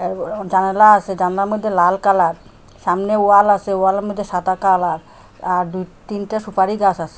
এব ও জানলা আসে জানলার মদ্যে লাল কালার সামনে ওয়াল আসে ওয়ালের মদ্যে সাদা কালার আর দুই তিনটা সুপারি গাস আসে।